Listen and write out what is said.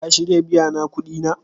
Ka shirya biya na kudi na?